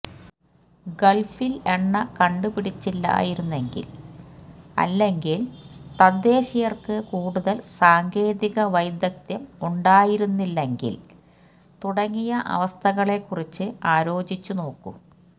ഗള്ഫില് എണ്ണ കണ്ടുപിടിച്ചില്ലായിരുന്നെങ്കില് അല്ലെങ്കില് തദ്ദേശീയര്ക്ക് കൂടുതല് സാങ്കേതിക വൈദഗ്ധ്യം ഉണ്ടായിരുന്നെങ്കില് തുടങ്ങിയ അവസ്ഥകളെ കുറിച്ച് ആലോചിച്ച് നോക്കൂ